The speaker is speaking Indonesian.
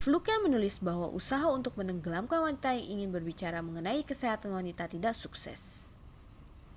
fluke menulis bahwa usaha untuk menenggelamkan wanita yang ingin berbicara mengenai kesehatan wanita tidak sukses